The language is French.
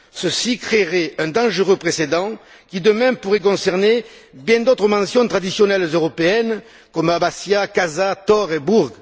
Ceci créerait un dangereux précédent qui, demain, pourrait concerner bien d'autres mentions traditionnelles européennes comme Abbazzia, Casa, Torre et Burg.